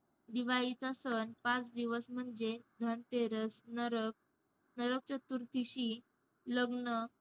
दिवाळीचा सण पाच दिवस म्हणजे धनतेरस, नरक~ नरकचतुर्थीशी, लग्न,